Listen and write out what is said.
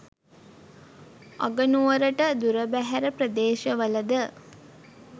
අගනුවරට දුරබැහැර ප්‍රදේශවලද